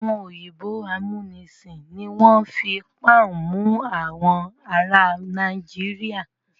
Àwọn òyìnbó amúnisìn ni wọ́n fi pọ́ùn mọ àwọn ará Nàìjíríà.